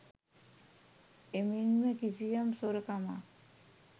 එමෙන්ම කිසියම් සොරකමක්